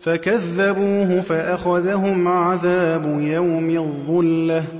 فَكَذَّبُوهُ فَأَخَذَهُمْ عَذَابُ يَوْمِ الظُّلَّةِ ۚ